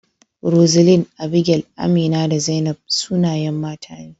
Roseline, Abigail, Amina, da Zainab sunayen mata ne.